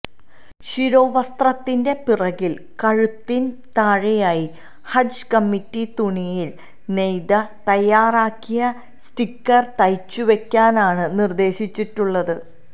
ശിരോവസ്ത്രത്തിന്റെ പിറകിൽ കഴുത്തിന് താഴെയായി ഹജ് കമ്മിറ്റി തുണിയിൽ നെയ്ത് തയാറാക്കിയ സ്റ്റിക്കർ തയ്ച്ചുവെക്കാനാണ് നിർദേശിച്ചിട്ടുളളത്